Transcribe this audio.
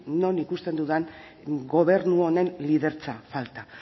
non ikusten dudan gobernu honen lidertza falta